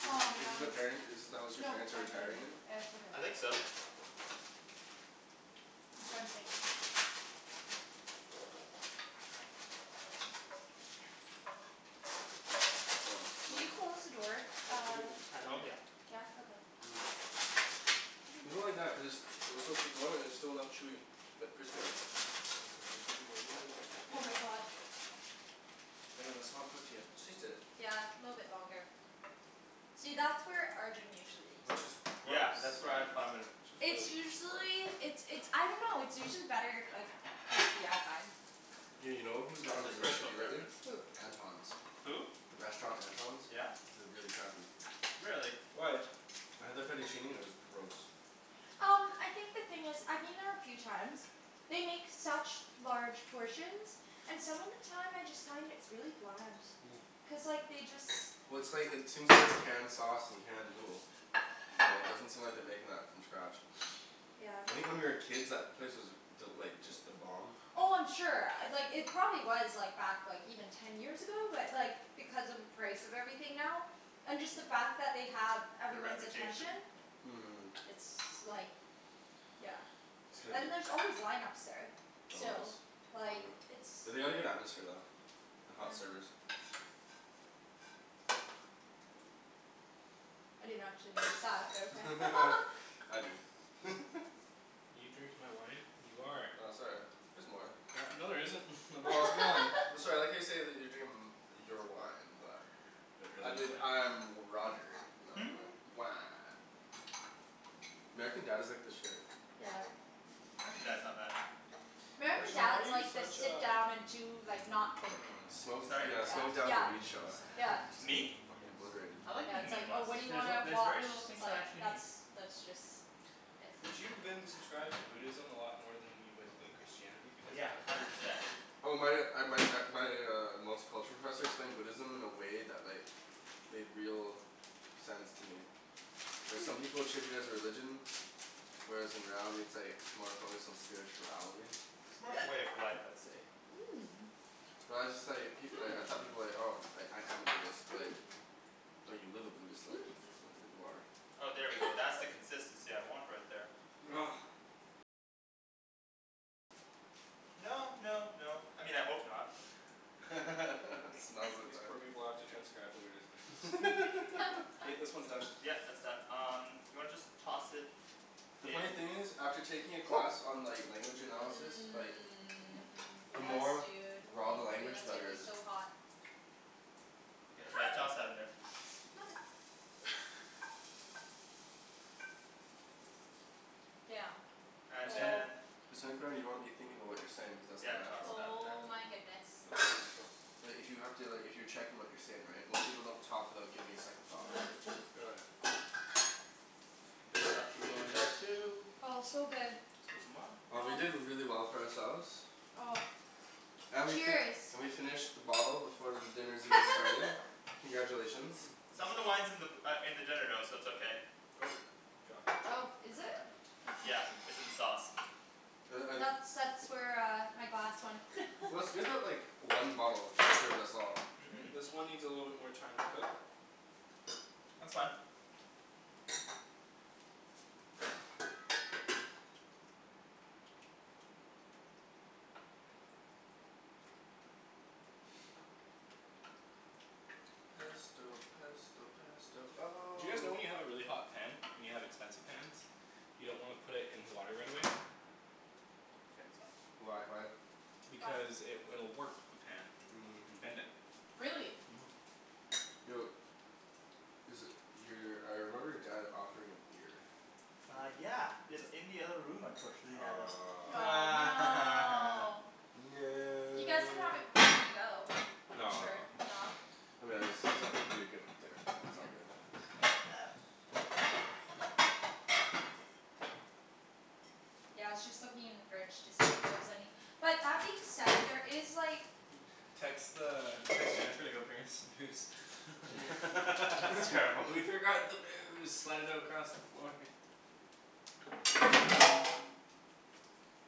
Is Aw this is this the man. parent is this the house your No, parents are I retiring cleaned. in? It's okay. I think so. Something. I want a Can slice. you close the door, I uh don't think it that's At done home? yet. Yeah. Yeah? Okay. People like that cuz, they'll still put more and it's still enough chewy, but crispy though. I just wanna get it a little bit crispy. Oh my god. Daniel, that's not cooked yet. Just taste it. Yeah, little bit longer. See, that's where Arjan usually eats. Yeah Gross. cuz that's where I Which is It's really gross. usually, it's it's I dunno, it's usually better if like crispy, I find. Yeah, you know who's That's gotten his really personal shitty lately? preference. Who? Anton's. Who? The restaurant Anton's? Yeah? It was really crappy. Really? Why? I had the fettuccine and it was gross. Um I think the thing is, I've been there a few times. They make such large portions. And some of the time I just find it's really bland. Cuz like, they just Well it's like, it seems like it's canned sauce and canned noodle. Yeah, it doesn't seem like they're making that from scratch. Yeah. I think when we were kids that place was th- like, just the bomb. Oh I'm sure. Uh like it probably was like back like even ten years ago. But like, because of the price of everything now and just the fact that they have Their everyone's attention. reputation? Yeah. Mhm. It's like Yeah. It's gonna be And there's c- always line ups there. Always. Still. Like, it's They had a good atmosphere though. And Yeah. hot servers. I didn't actually notice that, but okay. I do. You drinking my wine? You are! Oh sorry. There's more. No there isn't. My is gone. I'm sorry, I like how you say that they're drinking m- your wine, but But I really, you believe dick. I'm Roger. Wah. American Dad is like the shit. Yeah. American Dad's not bad. American Arjan why are Dad's you like the such sit a down and do like, not think. Minimalist. Smoke, Sorry? yeah, smoke down Yeah. and weed show. Yeah. Me? Fuckin' obliterated. I like Yeah, being it's a like, oh minimalist. what do you There's a- wanna there's watch? very little It's things I like actually that's need. that's just Did you then subscribe to Buddhism a lot more than you would with Christianity? Because Yeah. then Hundred percent. Oh my uh my uh my uh multiculture professor explained Buddhism in a way that like made real sense to me. Like some people treat it as religion whereas in reality it's like more focused on spirituality. It's more of a way of life, I'd say. Mmm. Well I just like, people y- I thought people like, "Oh, I Hmm. am a Buddhist," like Hmm. "No, you live a Buddhist life. Not that you Hmm. are." Oh there we go. That's the consistency I want right there. No no no, I mean I hope not. It smells like These that. poor people have to transcribe the weirdest things. K, this one's done. Yeah, that's done. Um do you wanna just toss it The funny in thing is, after taking a class on like language analysis, like Mmm. the Yes more dude. raw the Thank you. language, the That's gonna better be it is. so hot. Yeah, toss Hot! that in there. Mother Damn. And Oh. then you wanna be thinking about what you're saying cuz that's Yeah, not toss natural. that in there. Oh my goodness. It's all natural. But if you have to, like if you're checking what you're saying right, most people don't talk without giving it a second thought, right? This stuff can go in there too. Oh it's so good. 'scuzez moi. Oh we did really well for ourselves. Oh. And we fi- Cheers. we finished the bottle before dinner's even started. Congratulations. Some of the wine's in the b- uh in the dinner though, so it's okay. Nope. You dropped the chicken. Oh, is Would you it? mind? Yeah. It's in the sauce. Like That's I that's where uh my glass went. Well, it's good that like one bottle us all. Mhm. Great. This one needs a little bit more time to cook. That's fine. Pesto pesto pesto Do oh you guys know when you have a really hot pan and you have expensive pans you don't wanna put it in the water right away? Get some. Why, why? Why? Because it will warp the pan. Mmm. And bend it. Really? Mhm. Yo Is it, your, I remember your dad offering a beer. Uh yeah. It's in the other room unfortunately now though. Aw. Aw, no! You guys can have No! it before you go. I'm No sure, no. no. I mean I just see something that'd be good with dinner. That's all. Fuck yeah. Yeah, I was just looking in the fridge to see if there is any. But that being said, there is like Text the, text Jennifer to go bring us some booze. That's terrible. We forgot the booze! Slide it across the floor.